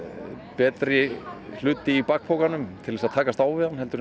betri hluti í bakpokanum til þess að takast á við hann heldur